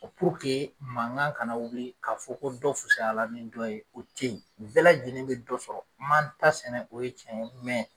puruke mankan kana wuli k'a fɔ ko dɔ fusayala ni dɔ ye o te yen bɛɛ lajɛlen be dɔ sɔrɔ n man ta sɛnɛ o ye cɛn ye mɛn